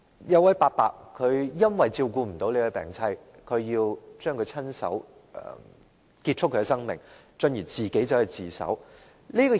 有一位伯伯由於無法照顧他的病妻，於是親手結束她的生命，然後自首。